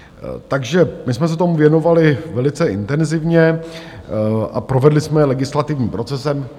Takže my jsme se tomu věnovali velice intenzivně a provedli jsme je legislativním procesem.